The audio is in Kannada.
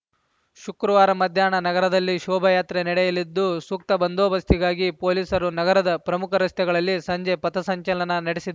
ಶುಕ್ರವಾರ ಮಧ್ಯಾಹ್ನ ನಗರದಲ್ಲಿ ಶೋಭಾಯಾತ್ರೆ ನಡೆಯಲಿದ್ದು ಸೂಕ್ತ ಬಂದೋಬಸ್ತಿಗಾಗಿ ಪೊಲೀಸರು ನಗರದ ಪ್ರಮುಖ ರಸ್ತೆಗಳಲ್ಲಿ ಸಂಜೆ ಪಥ ಸಂಚಲನ ನಡೆಸಿದ